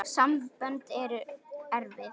Sambönd eru erfið!